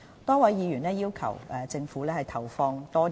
多位議員要求政府為公營醫療投放更多資源。